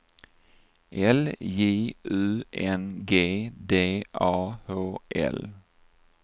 L J U N G D A H L